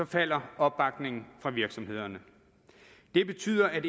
falder opbakningen fra virksomhederne det betyder at